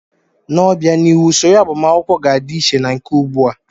N'obianihu, usoro agbamakwụkwọ ga-adị iche na nke ugbu a.